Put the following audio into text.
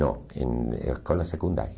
Não, em escola secundária.